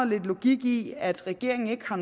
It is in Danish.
lidt logik i at regeringen ikke har